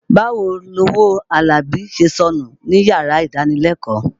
Báwo lowó Àlàbí ṣe sọnù níyàrá ìdánilẹ́kọ̀ọ́.